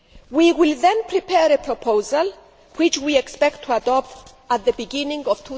We will then prepare a proposal, which we expect to adopt at the beginning